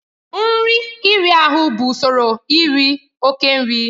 Nri iri ahụ bụ usoro iri oke nri.